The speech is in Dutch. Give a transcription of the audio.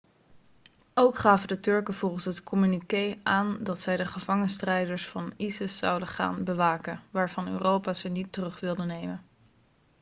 ook gaven de turken volgens het communiqué aan dat zij de gevangen strijders van isis zouden gaan bewaken waarvan europa ze niet terug wilde nemen